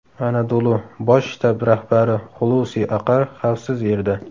Anadolu: bosh shtab rahbari Xulusi Aqar xavfsiz yerda.